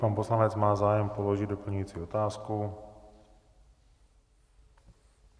Pan poslanec má zájem položit doplňující otázku.